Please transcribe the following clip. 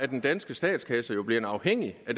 den danske statskasse jo blevet afhængig af